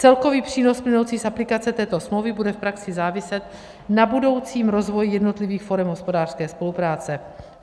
Celkový přínos plynoucí z aplikace této smlouvy bude v praxi záviset na budoucím rozvoji jednotlivých forem hospodářské spolupráce.